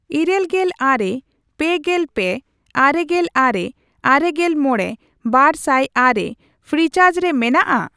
ᱤᱨᱟᱹᱞᱜᱮᱞ ᱟᱨᱮ, ᱯᱮᱜᱮᱞ ᱯᱮ, ᱟᱨᱮᱜᱮᱞ ᱟᱨᱮ, ᱟᱨᱮᱜᱮᱞ ᱢᱚᱲᱮ, ᱵᱟᱨᱥᱟᱭ ᱟᱨᱮ ᱯᱷᱨᱤᱪᱟᱨᱡ ᱨᱮ ᱢᱮᱱᱟᱜᱼᱟ ?